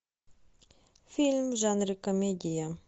фильм в жанре комедия